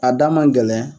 A da man gɛlɛn